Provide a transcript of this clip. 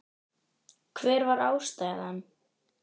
Hver var ástæðan?